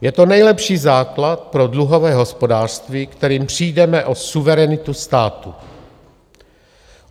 Je to nejlepší základ pro dluhové hospodářství, kterým přijdeme o suverenitu státu.